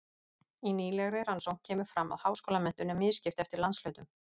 í nýlegri rannsókn kemur fram að háskólamenntun er misskipt eftir landshlutum